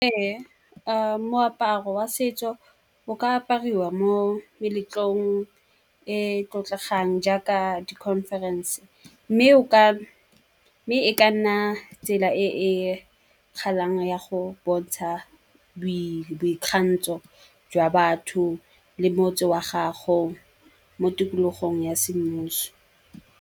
Ee, moaparo wa setso o ka apariwa mo meletlong e tlotlegang jaaka di-conference. Mme e ka nna tsela e e kgatlhang ya go bontsha boikgantsho jwa batho le motse wa gago mo tikologong ya semmuso.